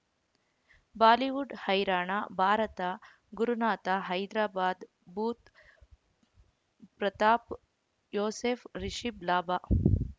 Bollywood ಹೈರಾಣ Bharat Gurunath Hyderabad Budh Pratap Yosef Rishabh ಲಾಭ